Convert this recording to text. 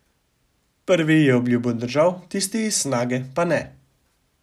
Prvi je obljubo držal, tisti iz Snage pa ne.